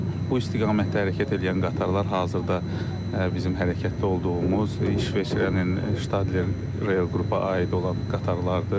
Bu istiqamətdə hərəkət eləyən qatarlar hazırda bizim hərəkətdə olduğumuz İsveçrənin Ştattler reil qrupa aid olan qatarlardır.